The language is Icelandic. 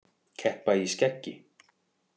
Keppa í skeggi